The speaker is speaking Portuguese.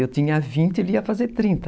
Eu tinha vinte, ele ia fazer trinta.